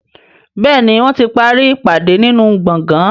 Béèni wón tí parí ìpàdé nínú gboôgan.